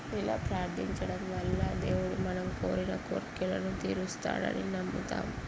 ఇలా ప్రార్ధించడం వల్ల దేవుడు మనం కోరిన కోరికలను తీరుస్తాడని నమ్ముతామ్.